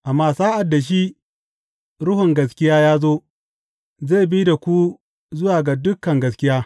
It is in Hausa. Amma sa’ad da shi, Ruhun gaskiya ya zo, zai bi da ku zuwa ga dukan gaskiya.